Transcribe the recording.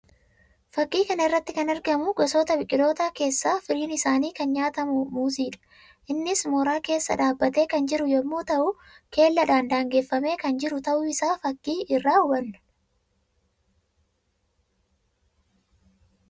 Fakkii kana irratti kan argamu gosoota biqilootaa keessaa firiin isaa kan nyaatamu muuzii dha. Innis mooraa keessa dhaabbatee kan jiru yammuu ta'u; keellaadhaan daangaffamee kan jiru ta'uu isaa fakkii irraa hubanuu dha.